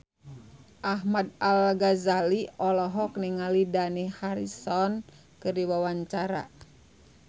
Ahmad Al-Ghazali olohok ningali Dani Harrison keur diwawancara